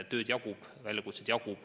Tööd jagub, väljakutseid jagub.